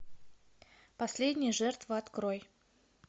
последняя жертва открой